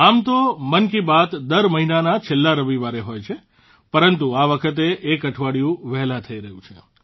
આમ તો મન કી બાત દર મહિનાના છેલ્લા રવિવારે હોય છે પરંતુ આ વખતે એક અઠવાડિયું વહેલા થઇ રહી છે